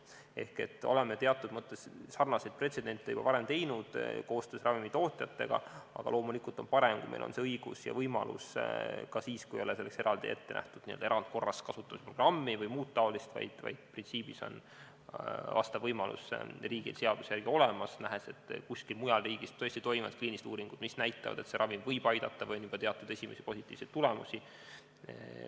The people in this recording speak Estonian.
Seega me oleme teatud mõttes sarnaseid pretsedente juba varem teinud koostöös ravimitootjatega, aga loomulikult on parem, kui meil on see õigus ja võimalus ka siis, kui ei ole selleks eraldi ette nähtud n-ö erandkorras kasutusprogrammi vms, vaid printsiibina on riigil vastav võimalus seaduse järgi olemas, kui nähakse, et kuskil mujal riigis tõesti toimuvad kliinilised uuringud, mis näitavad, et teatud ravim võib aidata või on juba andnud esimesi positiivseid tulemusi.